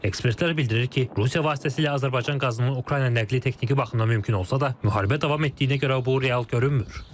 Ekspertlər bildirir ki, Rusiya vasitəsilə Azərbaycan qazının Ukraynaya nəqli texniki baxımdan mümkün olsa da, müharibə davam etdiyinə görə bu real görünmür.